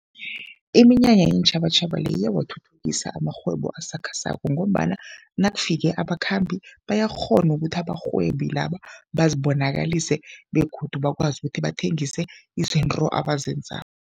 Iminyanya yeentjhabatjhaba le iyawathuthukisa amarhwebo asakhasako ngombana nakufike abakhambi bayakghona ukuthi abarhwebi laba bazibonakalise begodu bakwazi ukuthi bathengise izinto abazenzako.